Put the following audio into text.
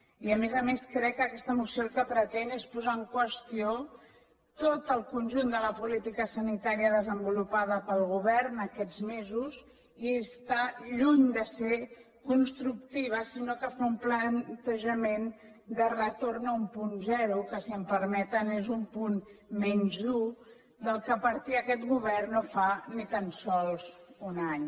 i a més a més crec que aquesta moció el que pretén és posar en qüestió tot el conjunt de la política sanitària desenvolupada pel govern aquests mesos i està lluny de ser constructiva sinó que fa un plantejament de retorn a un punt zero que si em permeten és un punt menys dur del qual partia aquest govern no fa ni tan sols un any